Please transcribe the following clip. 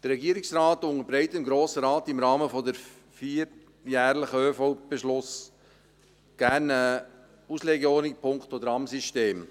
Der Regierungsrat unterbreitet dem Grossen Rat im Rahmen des vierjährlichen ÖV-Beschlusses gerne eine Auslegeordnung punkto Tramsystem.